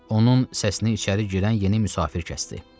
Onun səsini içəri girən yeni müsafir kəsdi.